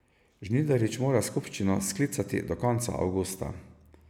Žnidarič mora skupščino sklicati do konca avgusta.